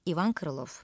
İvan Krılov.